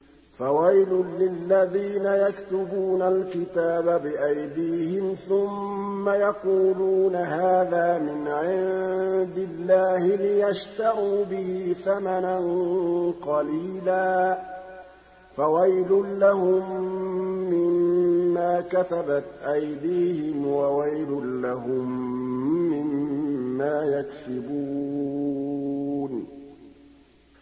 فَوَيْلٌ لِّلَّذِينَ يَكْتُبُونَ الْكِتَابَ بِأَيْدِيهِمْ ثُمَّ يَقُولُونَ هَٰذَا مِنْ عِندِ اللَّهِ لِيَشْتَرُوا بِهِ ثَمَنًا قَلِيلًا ۖ فَوَيْلٌ لَّهُم مِّمَّا كَتَبَتْ أَيْدِيهِمْ وَوَيْلٌ لَّهُم مِّمَّا يَكْسِبُونَ